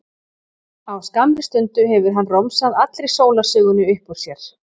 Á skammri stundu hefur hann romsað allri sólarsögunni upp úr sér.